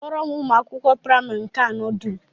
Kpọọrọ m ụmụ akwụkwọ praịmarị nke anọ dum!